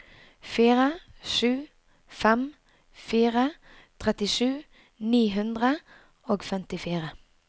fire sju fem fire trettisju ni hundre og femtifire